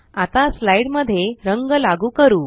आता स्लाइड मध्ये रंग लागू करू